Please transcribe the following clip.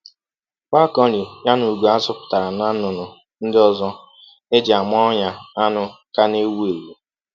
Falconry ya na ugo a zụpụtara na nnụnụ ndị ọzọ eji ama-onya anụ ka na-ewu ewu.